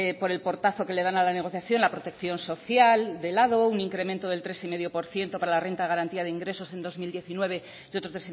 por el portazo que le dan a la negociación la protección social de lado un incremento del tres coma cinco por ciento para la renta de garantía de ingresos en dos mil diecinueve y otro